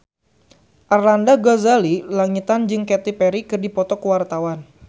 Arlanda Ghazali Langitan jeung Katy Perry keur dipoto ku wartawan